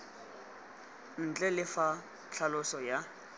ntle le fa tlhaloso ya